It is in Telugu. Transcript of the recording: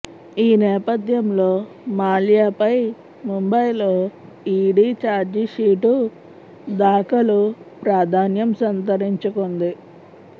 ఈ నేపథ్యంలో మాల్యాపై ముంబైలో ఈడీ చార్జిషీటు దాఖలు ప్రాధాన్యం సంతరించుకుంది